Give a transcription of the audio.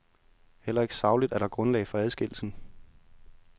Heller ikke sagligt er der grundlag for adskillelsen.